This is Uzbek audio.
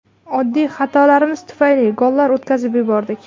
Oddiy xatolarimiz tufayli gollar o‘tkazib yubordik.